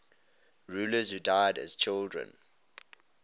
rulers who died as children